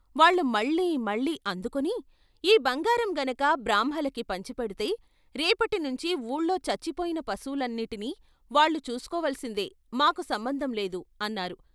వాళ్ళు మళ్ళీ మళ్ళీ అందుకుని ఈ బంగారం గనక బ్రాహ్మలకి పంచి పెడితే రేపటి నించి వూళ్ళో చచ్చిపోయిన పశువులన్నింటినీ వాళ్ళు చూసుకోవలసిందే మాకు సంబంధం లేదు అన్నారు.